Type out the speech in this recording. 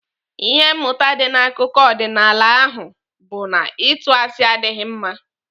Ihe mmụta dị n'akụkọ ọdịnaala ahụ bụ na ịtụ asị adịghị mma.